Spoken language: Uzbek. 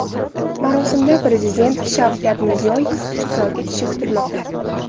Marosimda Prezident Shavkat Mirziyoyev ishtirok etishi kutilmoqda.